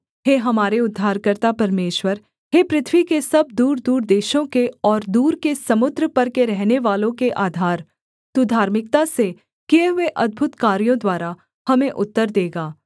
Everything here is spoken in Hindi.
हे हमारे उद्धारकर्ता परमेश्वर हे पृथ्वी के सब दूरदूर देशों के और दूर के समुद्र पर के रहनेवालों के आधार तू धार्मिकता से किए हुए अद्भुत कार्यों द्वारा हमें उत्तर देगा